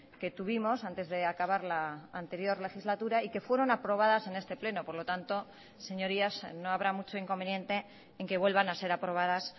que tuvimos antes de acabar la anterior legislatura y que fueron aprobadas en este pleno por lo tanto señorías no habrá mucho inconveniente en que vuelvan a ser aprobadas